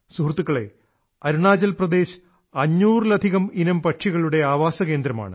സുഹൃത്തുക്കളേ അരുണാചൽ പ്രദേശ് അഞ്ഞൂറിലധികം ഇനം പക്ഷികളുടെ ആവാസകേന്ദ്രമാണ്